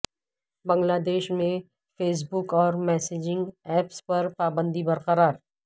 بنگلہ دیش میں Facebook اور میسجنگ ایپس پر پابندی برقرار